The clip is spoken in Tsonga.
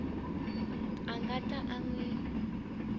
a nga ta n wi